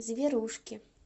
зверушки